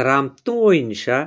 трамптың ойынша